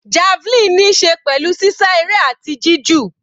Javelin níí ṣe pẹ̀lú sísá eré àti jí jù.